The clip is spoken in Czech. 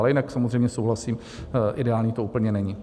Ale jinak samozřejmě souhlasím, ideální to úplně není.